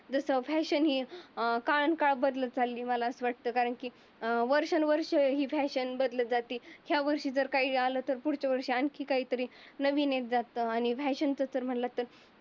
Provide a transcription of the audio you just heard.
जसं फॅशन ही अं फार काळ बदलत चालली मला असं मला अस वाटत. कारण की अं वर्षानुवर्षी ही फॅशन बदलत जाते. यावर्षी काही आलं तर पुढच्या वर्षी अजून नवीन काही तरी नवीन येत जात. आणि फॅशन जस मनलत तर